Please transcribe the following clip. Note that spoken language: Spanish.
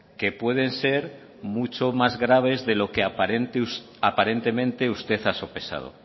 que puede ser mucho más graves de lo que aparentemente usted ha sopesado